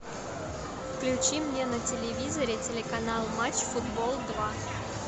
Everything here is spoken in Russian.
включи мне на телевизоре телеканал матч футбол два